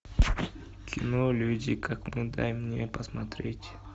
кино люди как мы дай мне посмотреть